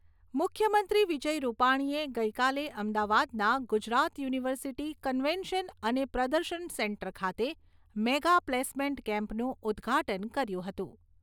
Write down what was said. મુખ્યમંત્રી વિજય રૂપાણીએ ગઈકાલે અમદાવાદના ગુજરાત યુનિવર્સિટી કન્વેન્શન અને પ્રદર્શન સેન્ટર ખાતે મેગા પ્લેસમેન્ટ કેમ્પનું ઉદ્દઘાટન કર્યું હતું.